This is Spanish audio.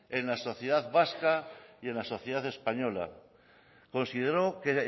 en la sociedad vasca y en la sociedad española consideró que